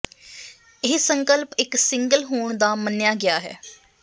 ਇਹ ਸੰਕਲਪ ਇੱਕ ਸਿੰਗਲ ਹੋਣ ਦਾ ਮੰਨਿਆ ਗਿਆ ਹੈ